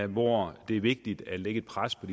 hvor det er vigtigt at lægge et pres på